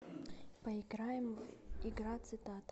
поиграем в игра цитата